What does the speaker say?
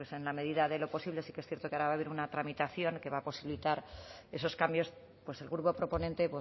bueno pues en la medida de lo posible sí que es cierto que ahora va a haber una tramitación que va a posibilitar esos cambios pues el grupo proponente